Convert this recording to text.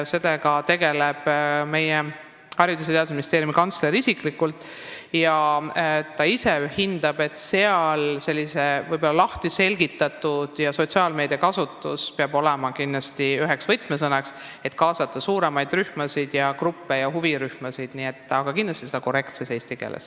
Sellega tegeleb Haridus- ja Teadusministeeriumi kantsler isiklikult ning ta ise hindab, et info selgitamine sotsiaalmeedias peab olema kindlasti üheks võtmesõnaks, selleks et kaasata suuremaid sotsiaalseid gruppe ja huvirühmasid, aga seda tuleb kindlasti teha korrektses eesti keeles.